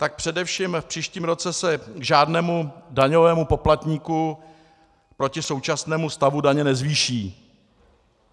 Tak především v příštím roce se žádnému daňovému poplatníku proti současnému stavu daně nezvýší.